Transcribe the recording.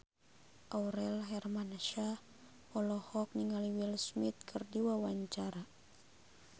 Aurel Hermansyah olohok ningali Will Smith keur diwawancara